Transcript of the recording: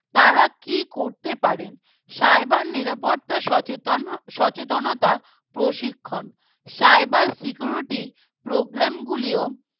তারা কি করতে পারেন Cyber নিরাপত্তা সচেতন সচেতনতা প্রশিক্ষণ Cyber Security Programme গুলিও